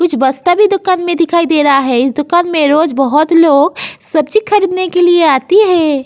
कुछ बस्ता भी दुकान में दिखाई दे रहा है। इस दुकान मे रोज बहुत लोग सब्जी खरीदने के लिए आती है।